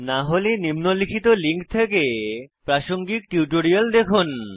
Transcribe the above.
না হলে নিম্নলিখিত লিঙ্ক থেকে প্রাসঙ্গিক টিউটোরিয়াল দেখুন